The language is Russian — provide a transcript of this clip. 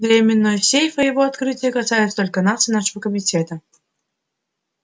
временной сейф и его открытие касаются только нас и нашего комитета